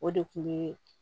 O de kun ye